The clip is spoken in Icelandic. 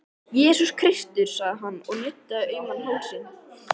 Jesús Kristur, sagði hann og nuddaði auman hálsinn.